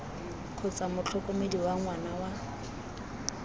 kgotsa motlhokomedi wa ngwana wa